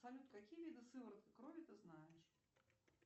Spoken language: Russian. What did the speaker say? салют какие виды сыворотки крови ты знаешь